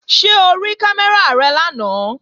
Ṣé o rí kámẹ́rà rẹ lánàá?